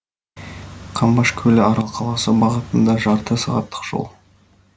қамбаш көлі арал қаласы бағытында жарты сағаттық жол